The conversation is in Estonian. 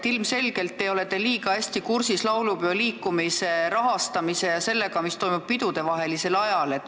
Ilmselgelt ei ole te kuigi hästi kursis laulupeoliikumise rahastamisega ja sellega, mis toimub pidudevahelisel ajal.